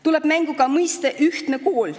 Tuleb mängu ka mõiste "ühtne kool".